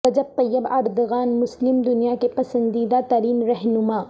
رجب Tayyip Erdogan مسلم دنیا کے پسندیدہ ترین رہنما